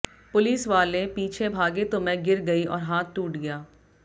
पुलिसवालें पीछे भागे तो मैं गिर गई और हाथ टूट गया